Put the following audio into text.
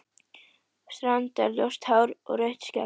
Strandar-ljóst hár og rautt skegg?